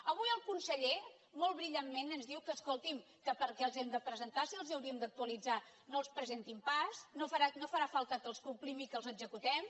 avui el conseller molt brillantment ens diu que escolti’m que per què els hem de presentar si els hauríem d’actualitzar no els presentin pas no farà falta que els complim i que els executem